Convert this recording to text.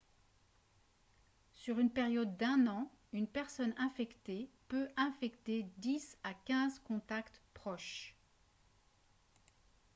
sur une période d'un an une personne infectée peut infecter 10 à 15 contacts proches